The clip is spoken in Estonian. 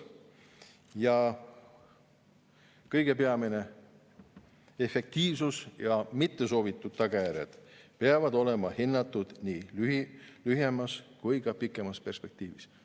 Ja kõige peamine: efektiivsus ja mittesoovitud tagajärjed peavad olema hinnatud nii lühemas kui ka pikemas perspektiivis.